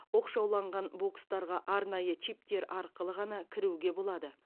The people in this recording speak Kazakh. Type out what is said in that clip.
оқшауланған бокстарға арнайы чиптер арқылы ғана кіруге болады